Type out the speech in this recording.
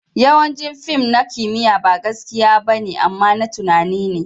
Yawancin fim na kimiyya ba gaskiya ba ne, amma na tunani ne.